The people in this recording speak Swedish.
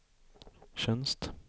tjänst